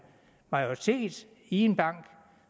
majoritet i en bank